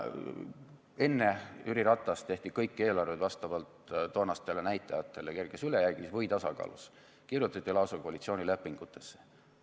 Enne Jüri Ratast tehti kõik eelarved vastavalt toonastele näitajatele kerges ülejäägis või tasakaalus, kirjutati see lausa koalitsioonilepingutesse.